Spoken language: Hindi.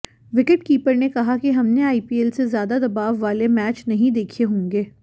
विकेटीपर ने कहा कि हमने आईपीएल से ज्यादा दबाव वाले मैच नहीं देखें होंगे